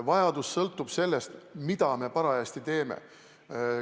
Vajadus sõltub sellest, mida me parajasti teeme.